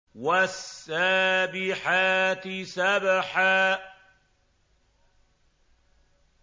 وَالسَّابِحَاتِ سَبْحًا